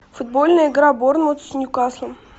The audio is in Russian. футбольная игра борнмут с ньюкаслом